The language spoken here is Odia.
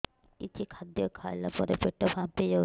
କିଛି ଖାଦ୍ୟ ଖାଇଲା ପରେ ପେଟ ଫାମ୍ପି ଯାଉଛି